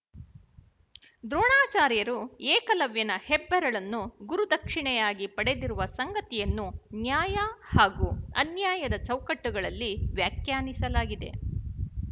ದ್ರೋಣಾಚಾರ್ಯರು ಏಕಲವ್ಯನ ಹೆಬ್ಬರಳನ್ನು ಗುರುದಕ್ಶಿಣೆಯಾಗಿ ಪಡೆದಿರುವ ಸಂಗತಿಯನ್ನು ನ್ಯಾಯ ಹಾಗೂ ಅನ್ಯಾಯದ ಚೌಕಟ್ಟುಗಳಲ್ಲಿ ವ್ಯಾಖ್ಯಾನಿಸಲಾಗಿದೆ